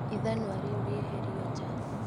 Ithanwa rĩu rĩeherio nja